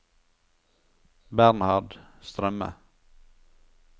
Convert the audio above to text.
Bernhard Strømme